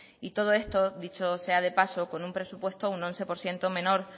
y todo esto dicho sea de paso con un presupuesto un once por ciento menor